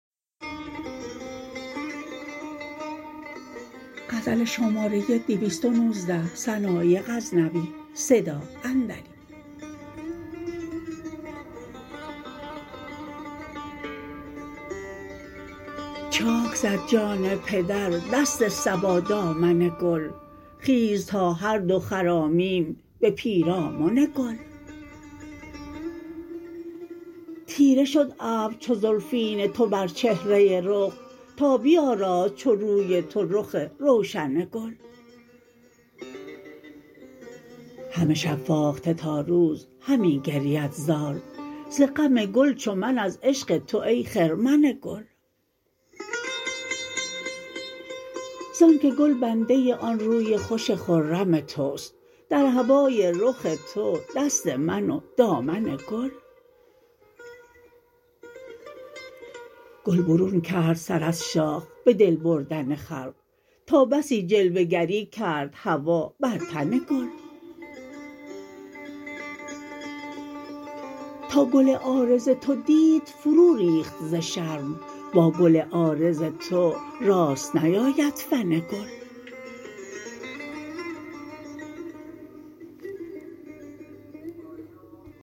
چاک زد جان پدر دست صبا دامن گل خیز تا هر دو خرامیم به پیرامن گل تیره شد ابر چو زلفین تو بر چهره رخ تا بیآراست چو روی تو رخ روشن گل همه شب فاخته تا روز همی گرید زار ز غم گل چو من از عشق تو ای خرمن گل زان که گل بنده آن روی خوش خرم تو ست در هوای رخ تو دست من و دامن گل گل برون کرد سر از شاخ به دل بردن خلق تا بسی جلوه گری کرد هوا بر تن گل تا گل عارض تو دید فرو ریخت ز شرم با گل عارض تو راست نیاید فن گل